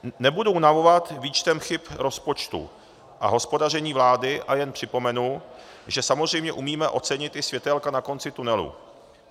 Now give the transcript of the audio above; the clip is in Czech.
Nebudu unavovat výčtem chyb rozpočtu a hospodaření vlády, ale jenom připomenu, že samozřejmě umíme ocenit i světélka na konci tunelu.